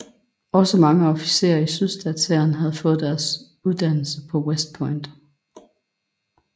Også mange officerer i sydstatshæren havde fået deres uddannelse på West Point